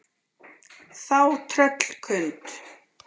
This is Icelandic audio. Þá tröllkund